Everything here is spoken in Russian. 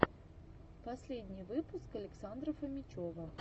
последний выпуск александра фомичева